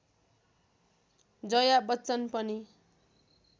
जया बच्चन पनि